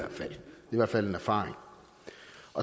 i hvert fald en erfaring